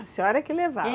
A senhora é que levava? É.